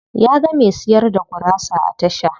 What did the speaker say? Ya ga me siyar da gurasa a tasha.